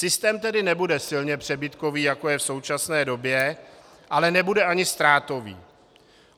Systém tedy nebude silně přebytkový, jako je v současné době, ale nebude ani ztrátový.